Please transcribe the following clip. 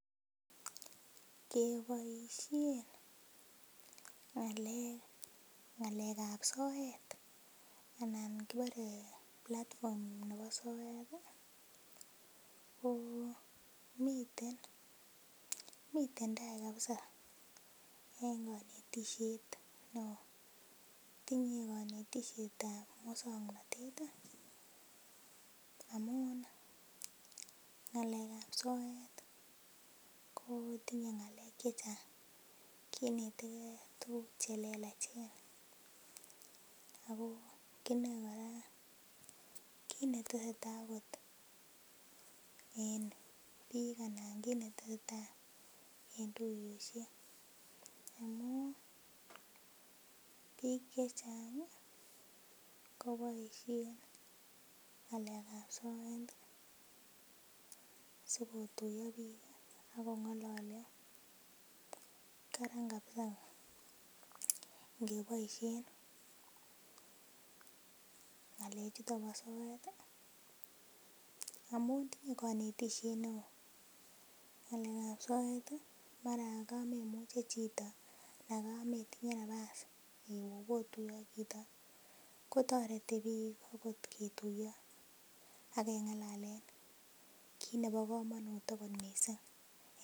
keboishen ng'alek, ng'aleab soet anan kibore platform nebo soet ko miten taai kabisa en konetishet neoo, tinye konetishetab muswoknotet amun ng'alekab soet kotinye ngalek chechang, kineteke tukuk chelelachen ak ko kinoi kiit neteseta en biik anan en tuyoshek amun biik chechang koboishen ngalekab soet sikotuyo biik ak ko ng'ololio, karan kabisa ing'eboishen ngalechuton bo soet amun tinye konetishet neoo, ngalekab soet maran kametinye chito anan kametinye nabas iwee obotuye ak chito kotoreti biik okot ketuyo ak kengalalen kiit nebo komonut okot mising.